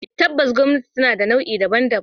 Tabbas gwamnati tana da nau'i daban-daban.